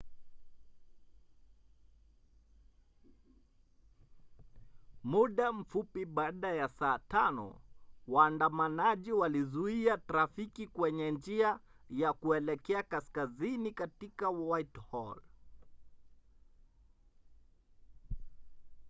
muda mfupi baada ya saa 5 waandamanaji walizuia trafiki kwenye njia ya kuelekea kaskazini katika whitehall